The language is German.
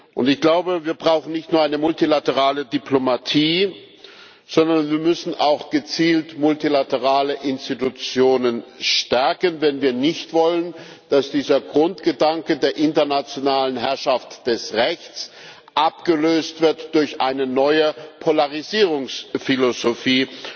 Und ich glaube, wir brauchen nicht nur eine multilaterale Diplomatie, sondern wir müssen auch gezielt multilaterale Institutionen stärken, wenn wir nicht wollen, dass dieser Grundgedanke der internationalen Herrschaft des Rechts abgelöst wird durch eine neue Polarisierungsphilosophie,